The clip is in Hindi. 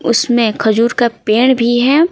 उसमें खजूर का पेड़ भी है।